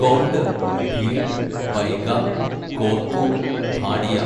Gond, Bhil, Baiga, Korku, Bhatia